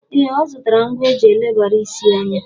Ee, ọ zụtara ngwa eji elebara isi anya.